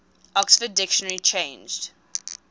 oxford dictionary changed